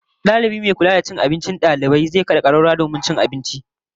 Dalibi mai kula da abincin dalibai da kicin zai sa a kada kararrawar karbar abinci